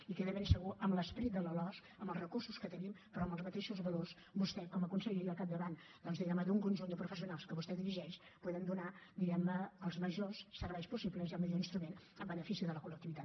i que de ben segur amb l’esperit de la losc amb els recursos que tenim però amb els mateixos valors vostè com a conseller i al capdavant doncs diguem ne d’un conjunt de professionals que vostè dirigeix podem donar diguem ne els majors serveis possibles i el millor instrument en benefici de la col·lectivitat